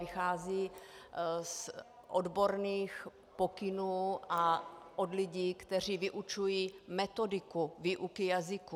Vycházejí z odborných pokynů a od lidí, kteří vyučují metodiku výuky jazyků.